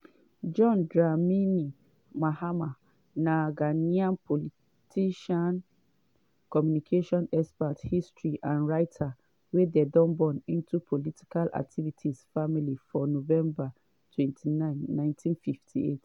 john dramini mahama na ghanaian politician communication expert historian and writer wey dem born into politically active family for november 29 1958.